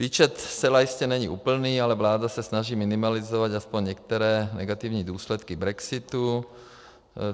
Výčet zcela jistě není úplný, ale vláda se snaží minimalizovat aspoň některé negativní důsledky brexitu.